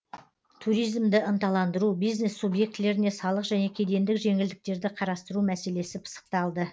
туризмді ынталандыру бизнес субъектілеріне салық және кедендік жеңілдіктерді қарастыру мәселесі пысықталды